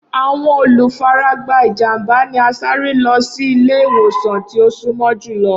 Awọn olufaragba ijamba ni a sare lọ si ile-iwosan ti o sunmọ julọ.